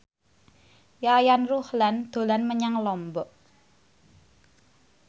Yayan Ruhlan dolan menyang Lombok